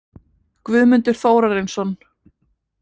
Guðmundur Þórarinsson